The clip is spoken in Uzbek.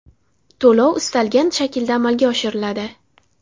To‘lov istalgan shaklda amalga oshiriladi.